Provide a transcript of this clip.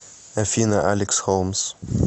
афина алекс холмс